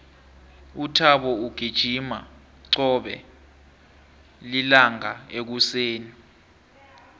uthabo ugijima qobe lilanga ekuseni